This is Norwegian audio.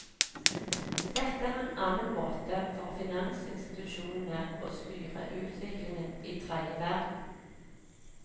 Dette er en annen måte for finansinstitusjonene å styre utviklingen i tredje verden.